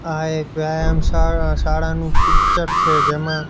આ એક વ્યાયામ શા-શાળા શાળાનું પિક્ચર છે જેમા--